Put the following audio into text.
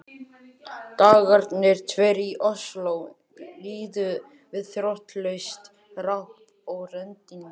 Dagarnir tveir í Osló liðu við þrotlaust ráp og reddingar.